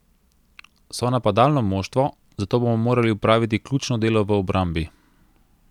So napadalno moštvo, zato bomo morali opraviti ključno delo v obrambi.